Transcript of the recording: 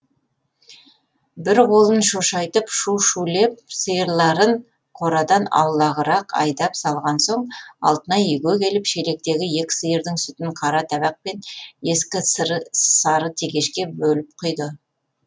бір қолын шошайтып шу шулеп сиырларын қорадан аулағырақ айдап салған соң алтынай үйге келіп шелектегі екі сиырдың сүтін қара табақ пен ескі сары тегешке бөліп құйды